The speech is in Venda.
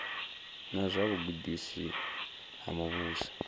na dza vhugudisi ha muvhuso